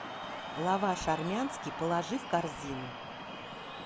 лаваш армянский положи в корзину